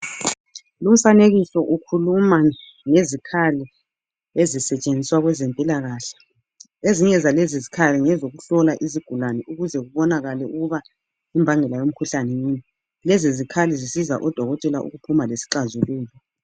Lumfanekiso ukhuluma ngezikhali ezisetshenziswa kwezempilakahle ezinye zalezi zikhali ngezokuhla izigulane ukuze kubonakale ukuba imbangela yomkhuhlane yini lezi zikhali zisiza odokotela ukuphuma lesixazululo.